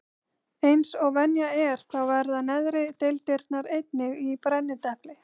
Eins og venja er þá verða neðri deildirnar einnig í brennidepli.